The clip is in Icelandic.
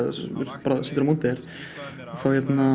situr á móti þér þá